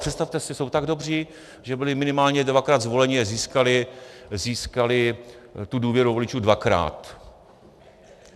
Přestavte si, jsou tak dobří, že byli minimálně dvakrát zvoleni a získali tu důvěru voličů dvakrát.